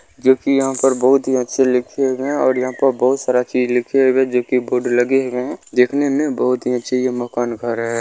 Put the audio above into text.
जो कि यहां पर बहुत ही अच्छे लिखे हैं और यहां पर बहुत सारा चीज लिखे हुए जो की बोर्ड लगे हुए हैं देखने में बहुत ही अच्छी है ये मकान घर है।